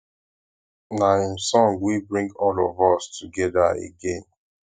na im song wey bring all of us together again